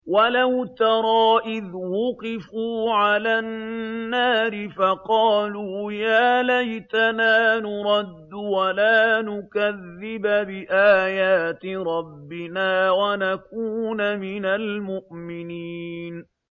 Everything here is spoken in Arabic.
وَلَوْ تَرَىٰ إِذْ وُقِفُوا عَلَى النَّارِ فَقَالُوا يَا لَيْتَنَا نُرَدُّ وَلَا نُكَذِّبَ بِآيَاتِ رَبِّنَا وَنَكُونَ مِنَ الْمُؤْمِنِينَ